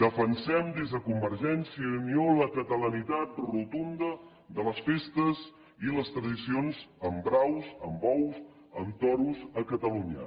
defensem des de convergència i unió la catalanitat rotunda de les festes i les tradicions amb braus amb bous amb toros a catalunya